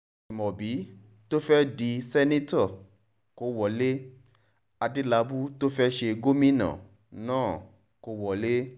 ajimobi tó fẹ́ẹ́ dì sẹ́ńtítọ́ kó wọlé adélábù tó fẹ́ẹ́ ṣe gómìnà náà kó wọlé